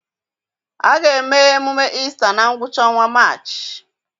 A ga-eme emume Ista na ngwụcha ọnwa Maachị.